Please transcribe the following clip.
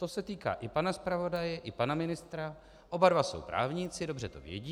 To se týká i pana zpravodaje, i pana ministra, oba dva jsou právníci, dobře to vědí.